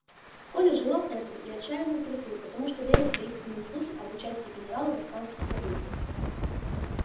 коля желал этого и отчаянно трусил потому что верил в таинственные слухи об участии генерала в испанских событиях